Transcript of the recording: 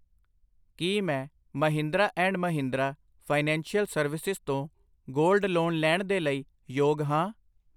ਕਿ ਮੈਂ Mahindra and Mahindra financial services ਤੋਂ ਗੋਲਡ ਲੋਨ ਲੈਣ ਦੇ ਲਈ ਯੋਗ ਹਾਂ?